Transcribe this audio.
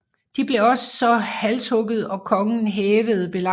De blev så halshugget og kongen hævede belejringen